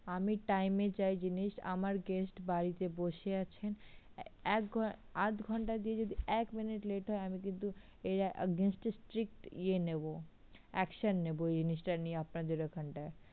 আমি time এ চাই জিনিস, আমার guest বাড়িতে বসে আছেন এক ঘণ্ট আদ ঘণ্টা দিয়ে যদি এক minute late হয় আমি কিন্তু এর against এ strict ইয়ে নেবো action নেবো জিনিসটা নিয়ে আপনাদের ওখানটায়।